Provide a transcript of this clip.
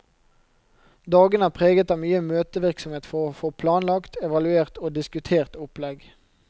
Dagene er preget av mye møtevirksomhet for å få planlagt, evaluert og diskutert opplegg.